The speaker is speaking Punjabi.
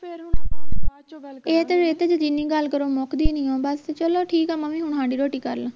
ਇਹ ਤੇ ਇਹ ਤੇ ਜਿੰਨੀ ਗੱਲ ਕਰੋ ਮੁਕਦੀ ਨਹੀਂ ਬਸ ਚਲੋ ਠੀਕ ਆ ਮੈਂ ਵੀ ਹੁਣ ਹਾਂਡੀ ਰੋਟੀ ਕਰ ਲਾਂ